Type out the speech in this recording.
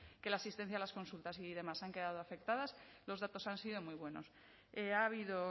que la asistencia a las consultas y demás han quedado afectadas los datos han sido muy buenos ha habido